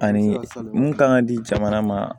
Ani mun kan ka di jamana ma